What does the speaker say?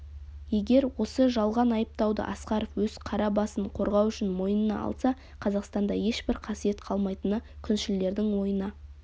егер осы жалған айыптауды асқаров өз қара басын қорғау үшін мойнына алса қазақстанда ешбір қасиет қалмайтыны күншілдердің ойына